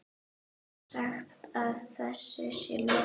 Sagt að þessu sé lokið.